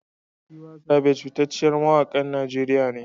Tiwa Savage fitacceyar mawakiyar Najeriya ne.